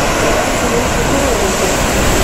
We etirwo cukuru ũrikũ?